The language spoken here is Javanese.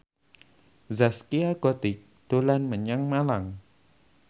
Zaskia Gotik dolan menyang Malang